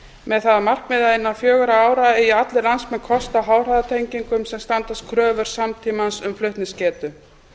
með það að markmiði að innan fjögurra ára eigi allir landsmenn kost á háhraðanettengingum sem standast kröfur samtímans um flutningsgetu